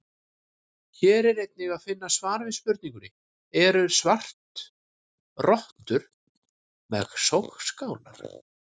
Hér er einnig að finna svar við spurningunni: Eru svartrottur með sogskálar?